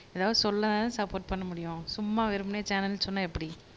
ஏதாவது சொல்லதானே சப்போர்ட் பண்ண முடியும் சும்மா வெறுமனே சேனல்ன்னு சொன்னா எப்படி